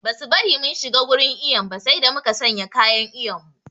Ba su bari mun shiga wurin iyon ba sai da muka sanya kayan iyon mu